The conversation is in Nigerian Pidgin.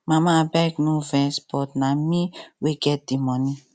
mama abeg no vex but na me wey get the money